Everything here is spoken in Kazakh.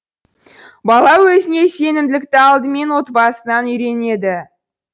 бала өзіне сенімділікті алдымен отбасынан үйренеді